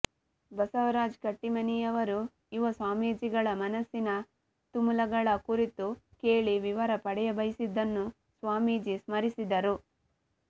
ಬಸವರಾಜ ಕಟ್ಟೀಮನಿಯವರು ಯುವಸ್ವಾಮೀಜಿಗಳ ಮನಸ್ಸಿನ ತುಮುಲಗಳ ಕುರಿತು ಕೇಳಿ ವಿವರ ಪಡೆಯಬಯಸಿದ್ದನ್ನು ಸ್ವಾಮೀಜಿ ಸ್ಮರಿಸಿದರು